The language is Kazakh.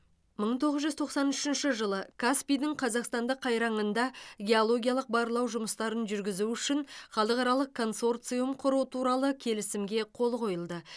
мың тоғыз жүз тоқсан үшінші жылы каспийдің қазақстандық қайраңында геологиялық барлау жұмыстарын жүргізу үшін халықаралық консорциум құру туралы келісімге қол қойылды